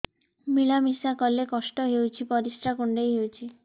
ମିଳା ମିଶା କଲେ କଷ୍ଟ ହେଉଚି ପରିସ୍ରା କୁଣ୍ଡେଇ ହଉଚି